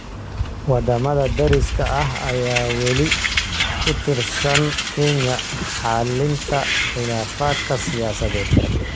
Waddamada deriska ah ayaa weli ku tiirsan Kenya xallinta khilaafaadka siyaasadeed.